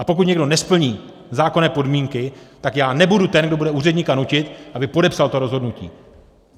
A pokud někdo nesplní zákonné podmínky, tak já nebudu ten, kdo bude úředníka nutit, aby podepsal to rozhodnutí!